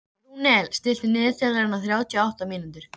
Rúnel, stilltu niðurteljara á þrjátíu og átta mínútur.